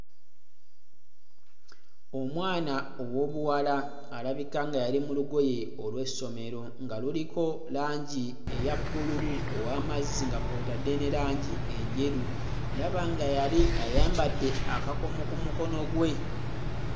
Omwana ow'obuwala alabika nga yali mu lugoye olw'essomero nga luliko langi eya bbululu ow'amazzi nga kw'otadde ne langi enjeru ndaba nga yali ayambadde akakomo ku mukono gwe.